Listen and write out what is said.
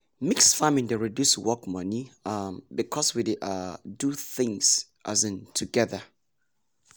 mix farming dey reduce work money um because we dey um do things um together.